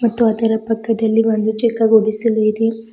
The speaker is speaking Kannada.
ಮತ್ತು ಅದರ ಪಕ್ಕದಲ್ಲಿ ಒಂದು ಚಿಕ್ಕ ಗುಡಿಸಲು ಇದೆ.